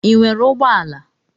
Ị nwere ụgbọala?